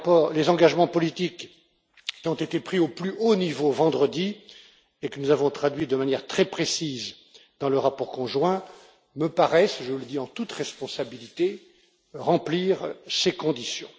Les engagements politiques qui ont été pris au plus haut niveau vendredi et que nous avons traduits de manière très précise dans le rapport conjoint me paraissent je le dis en toute responsabilité remplir ces conditions.